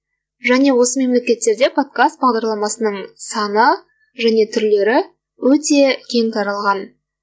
және осы мемлекеттерде подкаст бағдарламасының саны және түрлері өте кең таралған